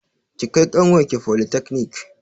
Ki kai ƙanwar ki folitakanik!